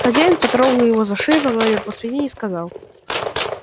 хозяин потрогал его за шею погладил по спине и сказал